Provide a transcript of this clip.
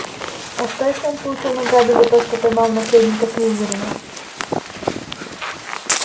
а что если он получил награду за то что поймал наследника слизерина